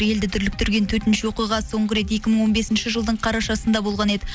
елді дүрліктірген төтенше оқиға соңғы рет екі мың он бесінші жылдың қарашасында болған еді